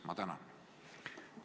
Ma tänan!